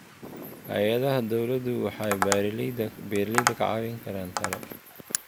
Hay'adaha dawladdu waxay beeralayda ka caawin karaan talo.